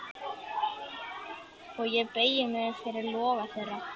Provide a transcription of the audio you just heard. Og ég beygi mig fyrir loga þeirra.